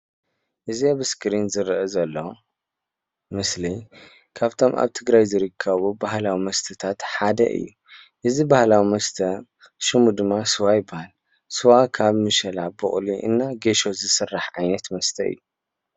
እዚ ኣብ እስክሪን ዝሪአ ዘሎ ምስሊ ካብቶም ኣብ ትግራይ ዝርከቡ ባህላዊ መስታት ሓደ እዩ:: እዚ ባህላዊ መስተ ሽሙ ድማ ስዋ ይበሃል ስዋ ካብ ምሸላ ቡቅሊ እና ጌሾ ዝስራሕ ዓይነት መስተ እዩ::